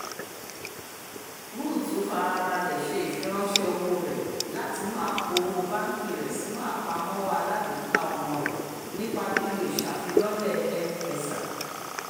rúùtù farabalẹ̀ ṣe ifiranṣẹ owó rẹ̀ látinú àpò owó báńkì rẹ̀ sínú àpamọ́wọ́ alágbèéká ọmọ rẹ̀ nípa lílò ìṣàfilọ́lẹ̀ m-pesa